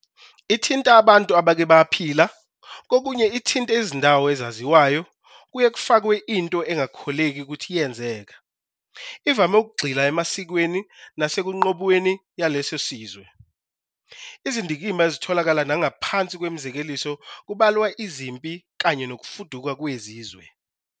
Ithinta abantu abake baphila, kokunye ithinte izindawo ezaziwayo, kuye kufakwe into engakholeki ukuthi yenzeka. Ivame ukugxila emasikweni nasekunqubweni yaleso sizwe. Izindkikmba ezitholalaka nagaphansi kwemizekeliso kubalwa izimpi kanye nokufuduka kwezizwe.